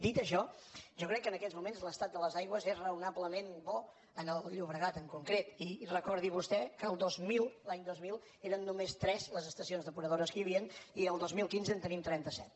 dit això jo crec que en aquests moments l’estat de les aigües és raonablement bo en el llobregat en concret i recordi vostè que el dos mil l’any dos mil eren només tres les estacions depuradores que hi havia i el dos mil quinze en tenim trenta set